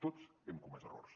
tots hem comès errors